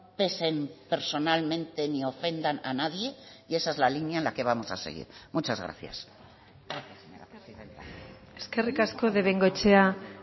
pesen personalmente ni ofendan a nadie y esa es la línea en la que vamos a seguir muchas gracias eskerrik asko de bengoechea